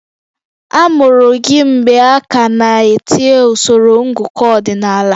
A mụrụ gị mgbe a ka na-etinye usoro ngụkọ ọdịnala?